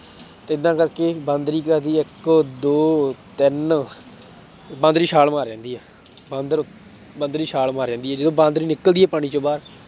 ਤੇ ਏਦਾਂ ਕਰਕੇ ਬਾਂਦਰੀ ਕੀ ਕਰਦੀ ਆ ਇੱਕ ਦੋ ਤਿੰਨ, ਬਾਂਦਰੀ ਛਾਲ ਮਾਰ ਜਾਂਦੀ ਆ, ਬਾਂਦਰ ਬਾਂਦਰੀ ਛਾਲ ਮਾਰ ਜਾਂਦੀ ਆ ਜਦੋਂ ਬਾਂਦਰੀ ਨਿਕਲਦੀ ਪਾਣੀ ਚੋਂ ਬਾਹਰ